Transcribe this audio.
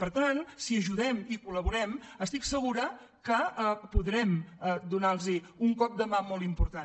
per tant si ajudem i col·laborem estic segura que podrem donar los un cop de mà molt important